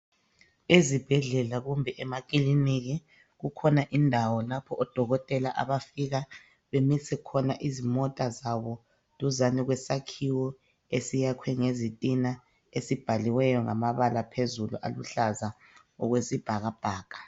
Ezibhedlela kumbe emakilinika kukhona indawo, lapho odokotela abafike bemise khona izmota zabo, duzane kwesakhiwo , esiyakhwe ngezitina. Esibhaliweyo ngamabala phexulu, aluhlaza, okwesibhakabhaka.